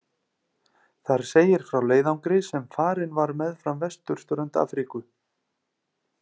Þar segir frá leiðangri sem farinn var meðfram vesturströnd Afríku.